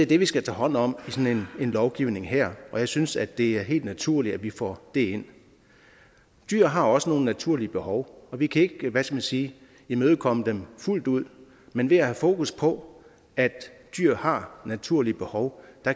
det vi skal tage hånd om i sådan en lovgivning her og jeg synes at det er helt naturligt at vi får det ind dyr har også nogle naturlige behov og vi kan ikke hvad skal man sige imødekomme dem fuldt ud men ved at have fokus på at dyr har naturlige behov